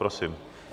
Prosím.